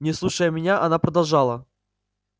не слушая меня она продолжала